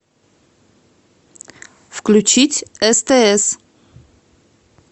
включить стс